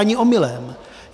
Ani omylem.